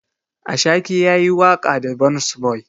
Ashake yayi waƙa da burns boy.